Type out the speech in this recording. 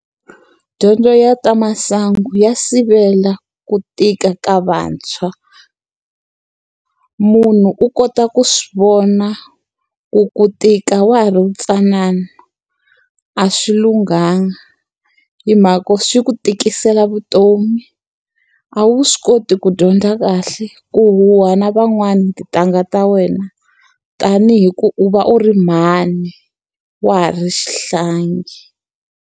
Dyondzo ya ta masangu ya sivela ku tika ka vantshwa. Munhu u kota ku swi vona ku ku tika wa ha ri ntsanana, a swi lunghanga. Hi mhaka yo swi ku tikisela vutomi, a wu swi koti ku dyondza kahle, ku huha na van'wani tintangha ta wena tanihi ku u va u ri mhani wa ha ri xihlangi.